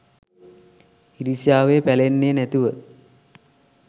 ඉරිසියාවේ පැලෙන්නේ නැතිව